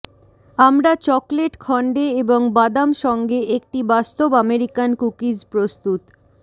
আমরা চকলেট খন্ডে এবং বাদাম সঙ্গে একটি বাস্তব আমেরিকান কুকিজ প্রস্তুত